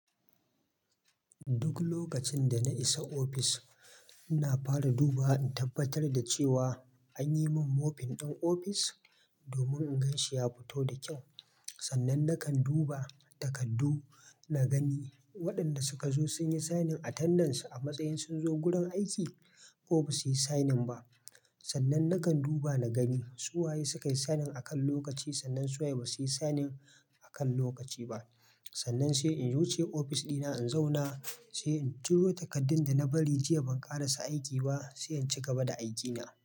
Duk lokacin dana isa ofis, ina fara duba in tabbatar da cewa anyimin moping ɗin ofis domin in ganshi ya fito da kyau. Sannan nakan duba takardu na gani waɗanda suka zo sunyi signing a tandance a matsayin sunzo gurin aiki ko basuyi signing ba. Sannan nakan duba na gani su waye suka yi signing akan lokaci sannan su waye basuyi signing akan lokaci ba. Sannan sai in wuce ofis ɗina in zauna, sai in jiro takardun dana bari jiya ban ƙara sa aiki ba, sai inci gaba da aikina.